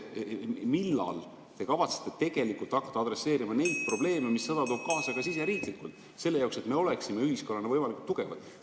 Millal te kavatsete tegelikult hakata adresseerima neid probleeme, mis sõda toob kaasa ka siseriiklikult, selle jaoks, et me oleksime ühiskonnana võimalikult tugevad?